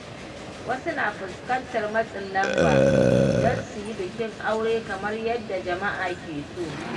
Wasu na fuskantar matsin lamba don su yi bikin aure kamar yadda jama’a ke so.